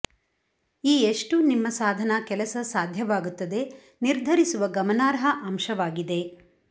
ಈ ಎಷ್ಟು ನಿಮ್ಮ ಸಾಧನ ಕೆಲಸ ಸಾಧ್ಯವಾಗುತ್ತದೆ ನಿರ್ಧರಿಸುವ ಗಮನಾರ್ಹ ಅಂಶವಾಗಿದೆ